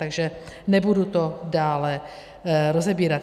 Takže nebudu to dále rozebírat.